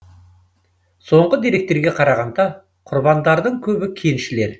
соңғы деректерге қарағанда құрбандардың көбі кеншілер